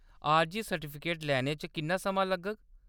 आरजी सर्टिफिकेट लैने च किन्ना समां लग्गग ?